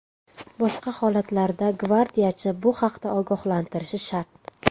Boshqa holatlarda gvardiyachi bu haqda ogohlantirishi shart.